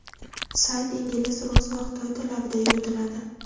Sayt ingliz, rus va xitoy tillarida yuritiladi.